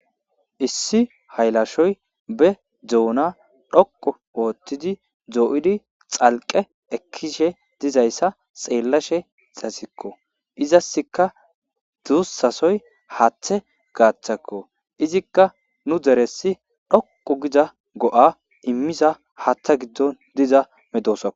Issi haylashoy be doona dhoqu oothtidi doo,idi xalqe ekkishe dizayssa xeellashe xasikko izaska duussasoy haaththe gaaththakko izikka nu deressi dhoqu giza go7a immiza haatha giddon diza medosoa.